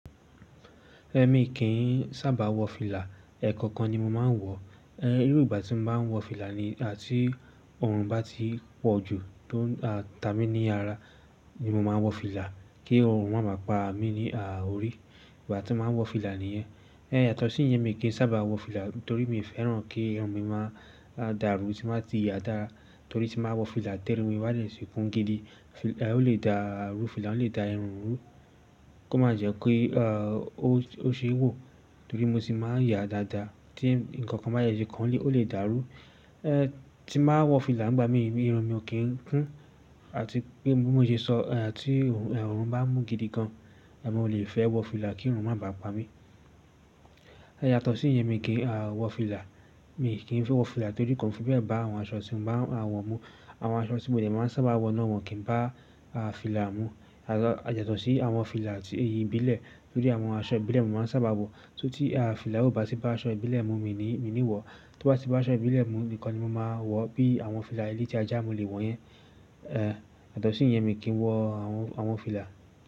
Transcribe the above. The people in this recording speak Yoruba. Ẹ̀mi kì í sábà wọ fìlà, ẹ̀kọ̀kan ni mò máa ń wọ. Èrú ìgbà tí mò máa ń wọ fìlà ni tí ọrùn bá ti pọ̀ jù tó ta mi ní ara ni mò máa ń wọ fìlà kí ọrùn má bà pa mí ní à orí. Ìgbà tí mò máa ń wọ fìlà nìyẹn. Ẹ̀ yàtọ̀ sí ìyẹn mi kì í sábà wọ fìlà torí mi fẹ́ràn kí irun mi máa dàrú tí má tí yá dára torí tí máa wọ fìlà tí run mi bá dé tí kún gidi. Ẹ̀ ọ lè dàrú, fìlà lè dà irun rú, kó má jẹ́ kí ọ ó ṣe wò torí mo ti máa ń yá dáadáa tí ǹkan kan bá yẹ sé kan ọ lè dàrú. Ẹ̀ tí mà wọ fìlà ìgbà mi irun mi o kín kún àti pé bí mó ṣe sọ, tí ọrùn bá mú gidi gan, mo lè fẹ́ wọ fìlà kí ọrùn má bà pa mí. Ẹ̀ yàtọ̀ sí ìyẹn mi kì í wọ fìlà. Mi kì í fẹ́ wọ fìlà torí kò fi bẹ́ẹ̀ bá àwọn aṣọ tí mò baa máa wọ mú. Àwọn aṣọ tí mò de mà ń sábà wọ náà wọ́n kì ń bá fìlà mú. Yàtọ̀ sí àwọn fìlà tí ìbílẹ̀ tó jẹ àwọn aṣọ ìbílẹ̀ mó máa ń sábà wọ. Torí tí à fìlà o bá ti bá aṣọ ìbílẹ̀ mú mi ní wọ̀. Tó bá ti bá aṣọ ìbílẹ̀ mú nìkan ni mò máa wọ̀ bí àwọn fìlà ele tí ajá mò lè wọ̀ yẹn. Yàtọ̀ sì ìyẹn mi kì í wọ àwọn fìlà.